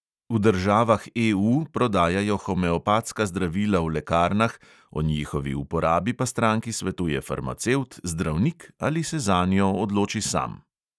V državah EU prodajajo homeopatska zdravila v lekarnah, o njihovi uporabi pa stranki svetuje farmacevt, zdravnik ali se zanjo odloči sam.